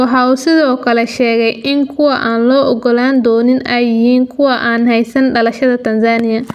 Waxa uu sidoo kale sheegay in kuwa aan la ogolaan doonin ay yihiin kuwa aan heysan dhalashada Tanzania.